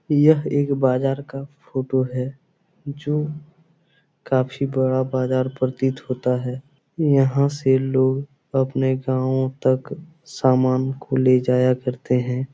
यह एक बाजार का फोटो है जो काफी बड़ा बाजार प्रतीत होता है यहाँ से लोग अपने गाँव तक सामान को ले जाया करते है।